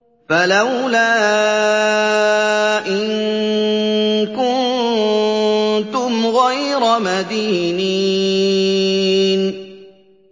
فَلَوْلَا إِن كُنتُمْ غَيْرَ مَدِينِينَ